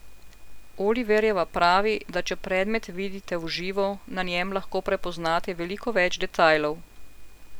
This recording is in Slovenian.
Oliverjeva pravi, da če predmet vidite v živo, na njem lahko prepoznate veliko več detajlov.